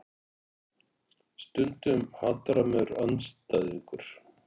Stundum hatrammur andstæðingur.